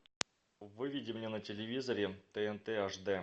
выведи мне на телевизоре тнт аш д